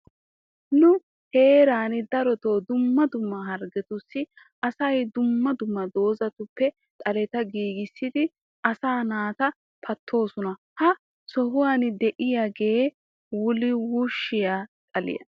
Nu heeraani daroto dumma dumma harggetussi asa dumma dumma doozatuppe xaleta giigissidi asaa naata pattoosona. Ha sohuwan diyagee wulawushshiya xaliya.